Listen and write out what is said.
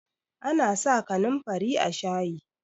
ana sa kanin fari a shayi